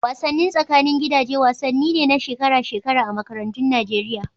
Wasannin tsakanin gidaje wasanni ne na shekara-shekara a makarantun Nageriya.